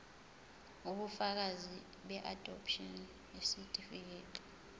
ubufakazi beadopshini isitifikedi